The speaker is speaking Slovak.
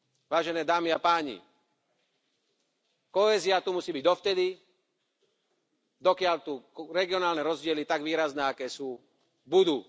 Vážené dámy a páni, kohézia tu musí byť dovtedy, dokiaľ tu regionálne rozdiely tak výrazné, aké sú, budú.